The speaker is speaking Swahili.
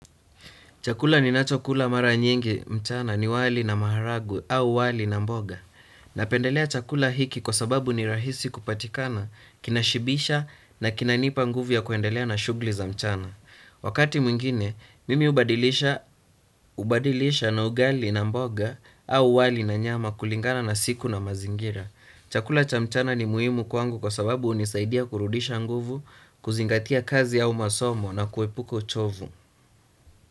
Chakula ninachokula mara nyingi mchana ni wali na maharagwe au wali na mboga. Napendelea chakula hiki kwa sababu ni rahisi kupatikana, kinashibisha na kinanipa nguvu ya kuendelea na shughuli za mchana. Wakati mwingine, mimi hubadilisha na ugali na mboga au wali na nyama kulingana na siku na mazingira. Chakula cha mchana ni muhimu kwangu kwa sababu hunisaidia kurudisha nguvu, kuzingatia kazi au masomo na kuepuka uchovu.